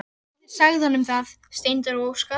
Ragnhildur sagði honum það: Steindór og Óskar.